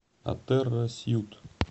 атерра сьют